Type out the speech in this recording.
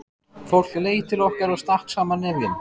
Fólk leit til okkar og stakk saman nefjum.